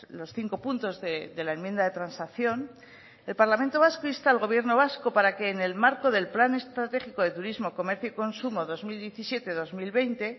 los cinco puntos de la enmienda de transacción el parlamento vasco insta al gobierno vasco para que en el marco del plan estratégico de turismo comercio y consumo dos mil diecisiete dos mil veinte